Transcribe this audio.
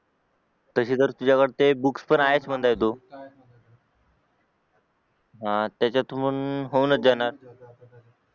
तसे तर तुझ्याकडे बुक्स तर आहेच म्हणत तू त्याच्यातून होऊनच जाणार